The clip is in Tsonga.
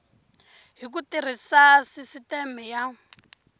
hi ku tirhisa sisiteme ya